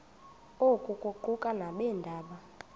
oku kuquka nabeendaba